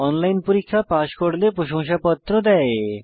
online পরীক্ষা pass করলে প্রশংসাপত্র দেয়